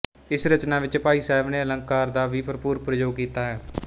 ਇਸ ਰਚਨਾ ਵਿੱਚ ਭਾਈ ਸਾਹਿਬ ਨੇ ਅਲੰਕਾਰ ਦਾ ਵੀ ਭਰਪੂਰ ਪ੍ਰਯੋਗ ਕੀਤਾ ਹੈ